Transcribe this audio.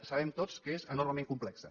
sabem tots que és enormement complexa